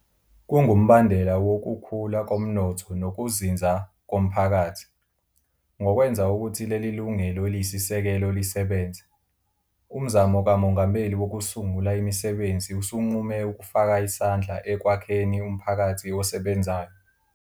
Kungumbandela wokukhula komnotho nokuzinzako mphakathi. Ngokwenza ukuthi leli lungelo eliyisisekelo lisebenze, Umzamo kaMongameli Wokusungula Imisebenzi usunqume ukufaka isandla ekwakheni umphakathi osebenzayo.